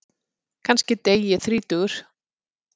Kannski dey ég þrítugur.